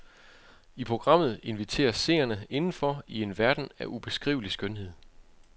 I programmet inviteres seerne indenfor i en verden af ubeskrivelig skønhed.